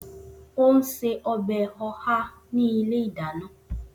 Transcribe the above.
O n se ọbẹ Oha ni ile idana.